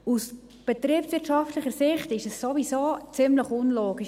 Aus betriebswirtschaftlicher Sicht ist es ohnehin ziemlich unlogisch.